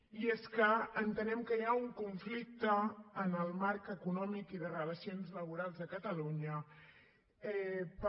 i és que entenem que hi ha un conflicte en el marc econòmic i de relacions laborals de catalunya per